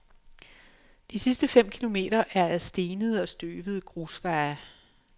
De sidste fem kilometer er ad stenede og støvede grusveje.